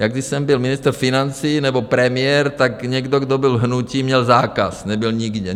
Já, když jsem byl ministr financí nebo premiér, tak někdo, kdo byl z hnutí, měl zákaz, nebyl nikde.